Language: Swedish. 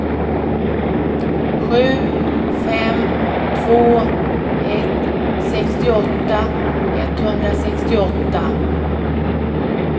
sju fem två ett sextioåtta etthundrasextioåtta